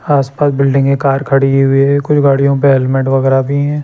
आसपास बिल्डिगें कार खड़ी हुई हैं कुछ गाड़ियों पे हेलमेट वगैरह भी हैं।